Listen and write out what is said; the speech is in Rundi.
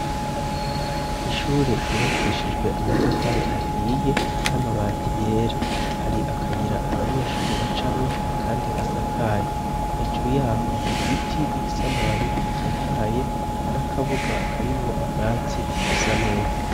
Ishure ryubakishijwe amatafari ahiye n'amabati yera. Hari akayira abanyeshure bacamwo kandi gasakaye, hejuru y'aho hari igiti gifise amababi atotahaye n'akabuga karimwo ubwatsi busa neza.